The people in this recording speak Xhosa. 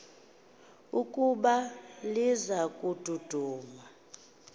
ukuba liza kududuma